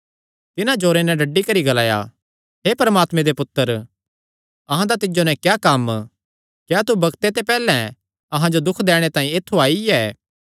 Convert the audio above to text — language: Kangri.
तिन्हां जोरे नैं डड्डी करी ग्लाया हे परमात्मे दे पुत्तर अहां दा तिज्जो नैं क्या कम्म क्या तू बग्ते ते पैहल्ले अहां जो दुख दैणे तांई ऐत्थु आईआ ऐ